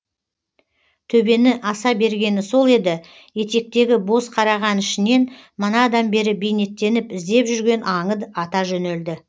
төбені аса бергені сол еді етектегі боз қараған ішінен манадан бері бейнеттеніп іздеп жүрген аңы ата жөнелді